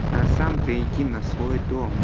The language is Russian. а сам-то иди на свой дом